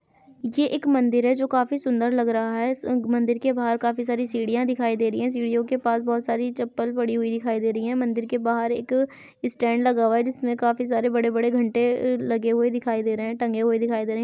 ये एक मंदिर है जो काफी सुंदर लग रहा है। इस मंदिर के बाहर काफी सारी सीढ़ियाँ दिखाई दे रही है। सीढ़ियों के पास बोहोत सारी चप्पल पड़ी हुई दिखाई दे रही है। मंदिर के बाहर एक स्टैंड लगा हुआ है जिसमें काफी सारे बड़े-बड़े घंटे लगे हुए दिखाई दे रहे है टंगे हुए दिखाई दे रहे हैं।